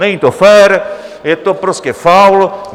Není to fér, je to prostě faul!